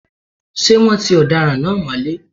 Ṣé wọ́́n ti ọ̀daràn náà mọ́lé?